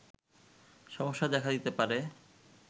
সমস্যা দেখা দিতে পারে